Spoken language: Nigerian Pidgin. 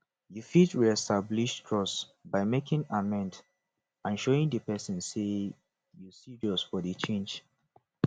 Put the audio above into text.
you fit reestablish trust by making amend and showing di pesin say you serious for di change